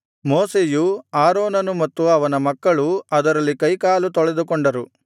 ಮೋಶೆಯು ಆರೋನನು ಮತ್ತು ಅವನ ಮಕ್ಕಳೂ ಅದರಲ್ಲಿ ಕೈಕಾಲು ತೊಳೆದುಕೊಂಡರು